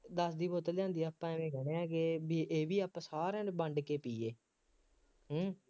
ਦਸ ਦੀ ਬੋਤਲ ਲਿਆਂਦੀ ਆਪਾਂ ਐਵੇਂ ਕਹਿੰਦੇ ਹਾਂ ਕਿ ਬਈ ਇਹ ਵੀ ਆਪਾਂ ਸਾਰਿਆਂ ਨੇ ਵੰਡ ਕੇ ਪੀਏ ਹੂੰ